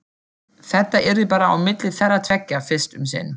Þetta yrði bara á milli þeirra tveggja fyrst um sinn.